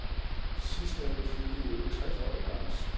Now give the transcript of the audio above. Sidstnævnte fyldte i øvrigt tres år i lørdags.